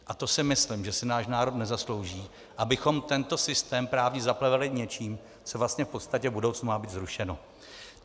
A to si myslím, že si náš národ nezaslouží, abychom tento systém právně zaplevelili něčím, co vlastně v podstatě v budoucnu má být zrušeno.